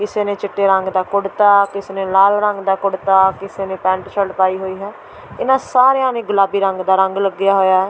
ਕਿਸੇ ਨੇ ਚਿੱਟੇ ਰੰਗ ਦਾ ਕੁੜ੍ਹਤਾ ਕਿਸੇ ਨੇ ਲਾਲ ਰੰਗ ਦਾ ਕੁੜ੍ਹਤਾ ਕਿਸੇ ਨੇ ਪੈਂਟ ਸ਼ਰਟ ਪਾਈ ਹੋਈ ਹੈ ਇਹਨਾਂ ਸਾਰਿਆਂ ਨੇ ਗੁਲਾਬੀ ਰੰਗ ਦਾ ਰੰਗ ਲੱਗਿਆ ਹੋਇਆ ਹੈ।